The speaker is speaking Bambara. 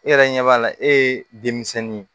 E yɛrɛ ɲɛ b'a la e ye denmisɛnnin ye